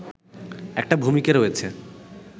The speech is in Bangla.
একটা ভূমিকা রয়েছে